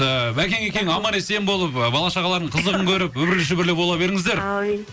ыыы бәкең екеуің аман есен болып ы бала шағалардың қызығын көріп үбірлі шүбірлі бола беріңіздер әумин